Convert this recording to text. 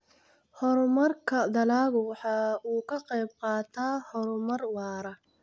Horumarka dalaggu waxa uu ka qayb qaataa horumar waara.